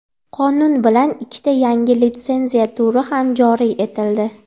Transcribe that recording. Qonun bilan ikkita yangi litsenziya turi ham joriy etildi.